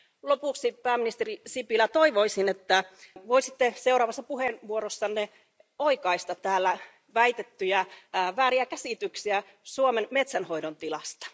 Lopuksi, pääministeri Sipilä, toivoisin, että voisitte seuraavassa puheenvuorossanne oikaista täällä väitettyjä vääriä käsityksiä Suomen metsänhoidon tilasta.